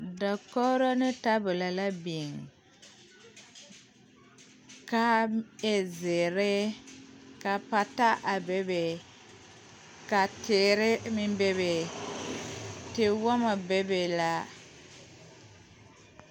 Dakogri ne tabolo la biŋ ka a e zeere ka pata be be ka teere meŋ bebe tewoma be be la.